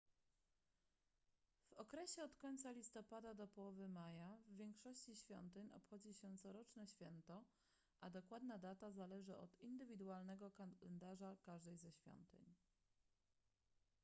w okresie od końca listopada do połowy maja w większości świątyń obchodzi się coroczne święto a dokładna data zależy od indywidualnego kalendarza każdej ze świątyń